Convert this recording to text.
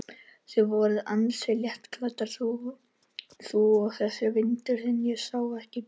Þið voruð ansi léttklædd, þú og þessi vinur þinn, ég sá ekki betur.